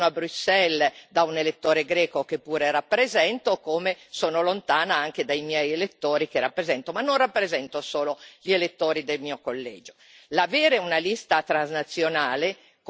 Quindi io sono lontanissima quando sono a Bruxelles da un elettore greco che pure rappresento, come sono lontana anche dai miei elettori che rappresento, ma non rappresento solo gli elettori del mio collegio.